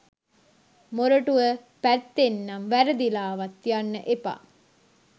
මොරටුව පැත්තෙනම් වැරදිලාවත් යන්න එපා